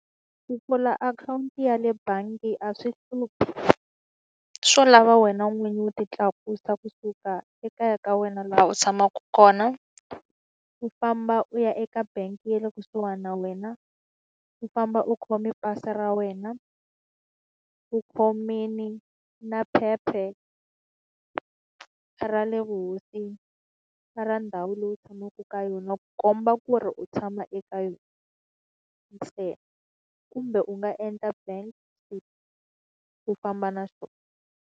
Ku pfula akhawunti ya le bangi a swi hluphi, swo lava wena n'winyi u ti tlakusa kusuka ekaya ka wena laha u tshamaka kona, u famba u ya eka bangi ya le kusuhani na wena, u famba u khome pasi ra wena, u u khomile na phepha ra le vuhosini na ra ndhawu leyi u tshamaka ka yona ku komba ku ri u tshama eka yona. kumbe u nga endla bank statement u famba na swona.